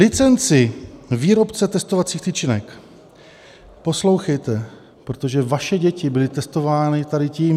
Licence výrobce testovacích tyčinek - poslouchejte, protože vaše děti byly testovány tady tím.